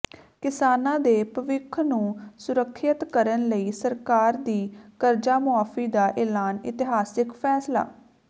ਕਿਸਾਨਾਂ ਦੇ ਭਵਿੱਖ ਨੂੰ ਸੁਰੱਖਿਅਤ ਕਰਨ ਲਈ ਸਰਕਾਰ ਦੀ ਕਰਜ਼ਾ ਮੁਆਫ਼ੀ ਦਾ ਐਲਾਨ ਇਤਿਹਾਸਕ ਫ਼ੈਸਲਾ